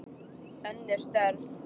Önnur störf.